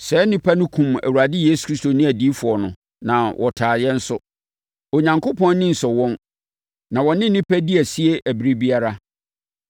Saa nnipa no kumm Awurade Yesu ne adiyifoɔ no, na wɔtaa yɛn nso. Onyankopɔn ani nsɔ wɔn, na wɔne nnipa di asi ɛberɛ biara.